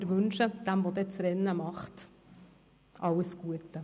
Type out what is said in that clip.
Wir wünschen dem, der das Rennen macht, alles Gute.